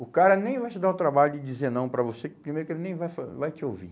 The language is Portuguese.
O cara nem vai te dar o trabalho de dizer não para você, que primeiro que ele nem vai fa vai te ouvir.